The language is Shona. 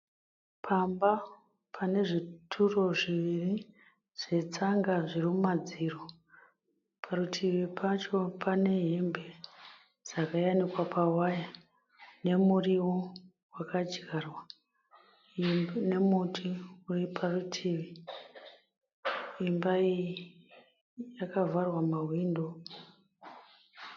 Pamba panezvituro zviviri zvetsanga zvirimumadziro. Parutivi pacho pane hembe dzakayanikwa pawaya, nemuriwo wakadyarwa, nemuti uriparutivi. Imba iyi yakavharwa mahwindo.